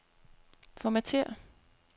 Formatér.